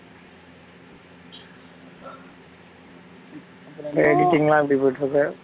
அப்புறம் editing லா எப்படி போயிட்டு இருக்கு?